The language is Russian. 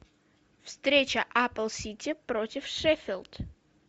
встреча апл сити против шеффилд